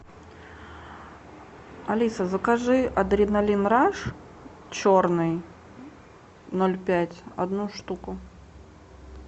алиса закажи адреналин раш черный ноль пять одну штуку